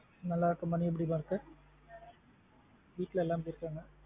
நல்லா இருக்கா மா நீ எப்டி மா இருக்கா? வீட்ல எல்லாம் எப்டி இருகங்கா.